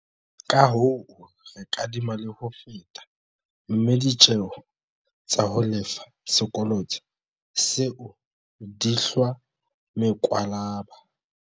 Kahoo, re kadima le ho feta, mme ditjeo tsa ho lefa sekoloto seo di hlwa mekwalaba.